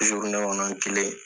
kɔnɔn n kelen.